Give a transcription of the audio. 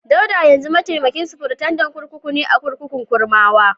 Dauda yanzu mataimakin sufritandan kurkuku ne a kurkukun Kurmawa.